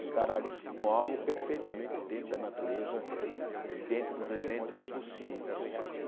Encarar isso como algo perfeitamente dentro da natureza e dentro dos eventos possíveis.